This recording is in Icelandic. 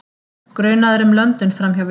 Grunaður um löndun framhjá vigt